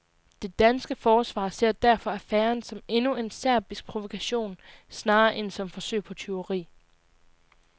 Det danske forsvar ser derfor affæren som endnu en serbisk provokation snarere end som forsøg på tyveri.